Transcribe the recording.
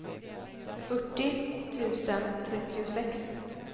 fyrtio tusen trettiosex